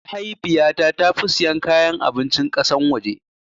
Mahaifiyata tafi sayan kayan abincin kasan waje